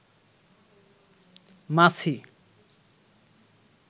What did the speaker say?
মাছি